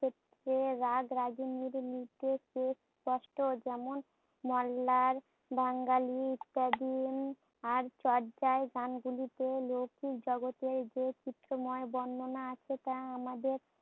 ক্ষেত্রে রাগরাগিণীর নির্দেশে স্পষ্ট, যেমন মল্লার বাঙ্গালীর আর চর্যায় গান গুলিতে লৌকিক জগতের যে চিত্রময় বর্ণনা সেটা আমাদের